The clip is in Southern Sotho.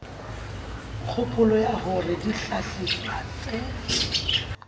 kgopolo ya hore dihlahiswa tse